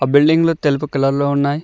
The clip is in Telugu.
బిల్డింగ్ లు తెలుపు కలర్ లో ఉన్నాయి.